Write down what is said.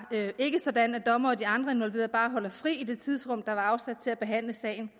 ikke sådan at dommere og de andre involverede bare holder fri i det tidsrum der var afsat til at behandle sagen